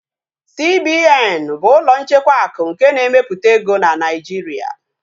CBN bụ ụlọ nchekwa akụ nke na-emepụta ego na Naịjiria